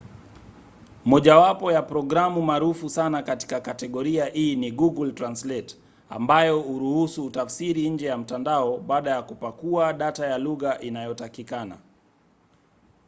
mojawapo ya programu maarufu sana katika kategoria hii ni google translate ambayo huruhusu utafsiri nje ya mtandao baada ya kupakua data ya lugha inayotakikana